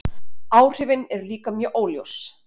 Áhrifin eru líka mjög óljós.